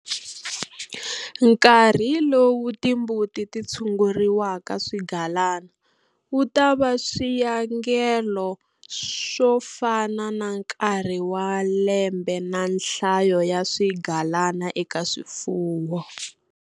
Nkarhi lowu timbuti ti tshunguriwa swigalana wu ta va swiyangelo swo fana na nkarhi wa lembe na nhlayo ya swigalana eka swifuwo.